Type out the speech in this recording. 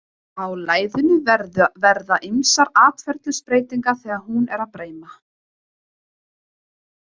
Á læðunni verða ýmsar atferlisbreytingar þegar hún er breima.